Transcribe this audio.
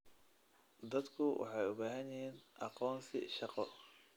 Dadku waxay u baahan yihiin aqoonsi shaqo.